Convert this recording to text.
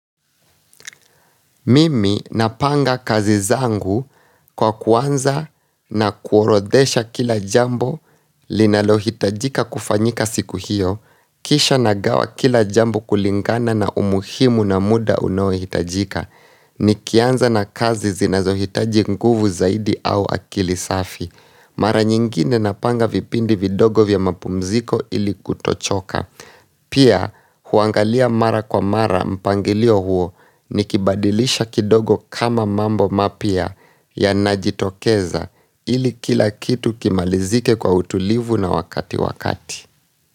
Mimi napanga kazi zangu kwa kuanza na kuorodesha kila jambo linalohitajika kufanyika siku hiyo, kisha nagawa kila jambo kulingana na umuhimu na muda unaohitajika, nikianza na kazi zinazohitaji nguvu zaidi au akili safi. Mara nyingine napanga vipindi vidogo vya mapumziko ili kutochoka Pia, huangalia mara kwa mara mpangilio huo Nikibadilisha kidogo kama mambo mapya yanajitokeza ili kila kitu kimalizike kwa utulivu na wakati wakati.